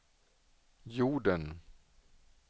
jorden